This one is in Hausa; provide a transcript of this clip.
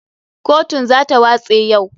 KOtun za ta watse yau.